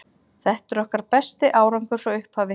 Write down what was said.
Þetta er okkar besti árangur frá upphafi.